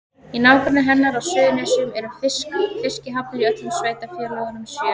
Í nágrenni hennar á Suðurnesjum eru fiskihafnir í öllum sveitarfélögunum sjö.